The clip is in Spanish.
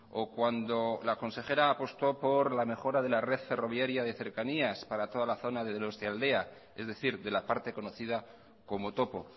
o cuando la consejera apostó por los mejora de la red ferroviaria de cercanías para toda la zona de donostialdea es decir de la parte conocida como topo